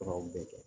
Furaw bɛɛ kɛ